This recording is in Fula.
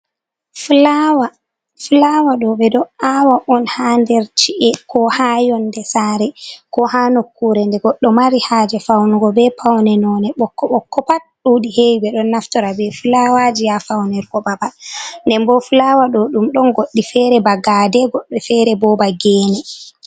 fulawa ɗo ɓe ɗo awa on ha nder chi’e ko ha yonde saare, ko ha nokkure nde goɗɗo mari haaje faunugo be paune nonde bokko bokko pat, ɗuɗi heewi ɓe ɗon naftira be fulawaji ha faunugo babal nden bo fulawa ɗo ɗum ɗon goɗɗi feere ba gaade goɗɗi feere bo ba geene.